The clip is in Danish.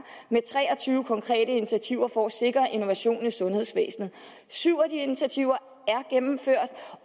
med tre og tyve konkrete initiativer for at sikre innovation i sundhedsvæsenet syv af de initiativer er gennemført